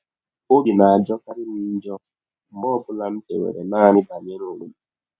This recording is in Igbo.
Ọbi na - ajọkarị m njọ mgbe ọ bụla m chewere naanị banyere ọnwe m.